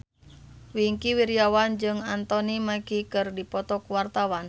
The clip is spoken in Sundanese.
Wingky Wiryawan jeung Anthony Mackie keur dipoto ku wartawan